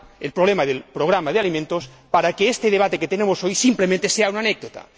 problema del programa de alimentos, para que este debate que tenemos hoy simplemente sea una anécdota.